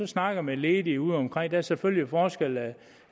snakker med ledige udeomkring er selvfølgelig forskel